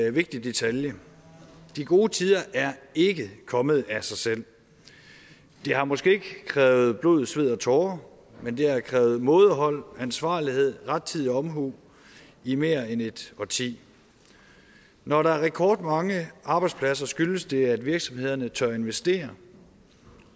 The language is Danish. en vigtig detalje de gode tider er ikke kommet af sig selv de har måske ikke krævet blod sved og tårer men de har krævet mådehold ansvarlighed og rettidig omhu i mere end et årti når der er rekordmange arbejdspladser skyldes det at virksomhederne tør investere